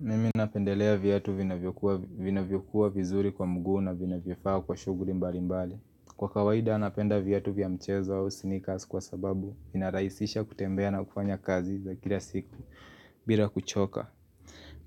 Mimi napendelea viatu vinavyo kuwa vina vyokuwa vizuri kwa mguu na vina vyofaa kwa shughuri mbali mbali Kwa kawaida anapenda viatu vya mchezo au sneakers kwa sababu inarahisisha kutembea na kufanya kazi za kila siku bila kuchoka